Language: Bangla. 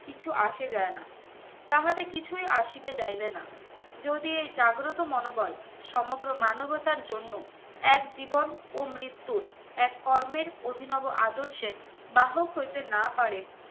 কিছু আসে যায় না তাহাদের কিছুই আসিবে যাইবে না যদি এই জাগ্রত মনোবল সমগ্র মানবতার জন্য এক জীবন ও মৃত্যুর এক কর্মের অভিনব আদর্শের বাহক হইতে না পারে